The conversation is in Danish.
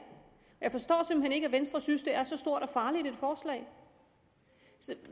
jeg forstår simpelt hen ikke at venstre synes det er så stort og farligt et forslag